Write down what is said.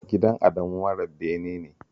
Gidan Adamu mara bene ne